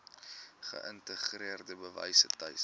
geïntegreerde wyse tuis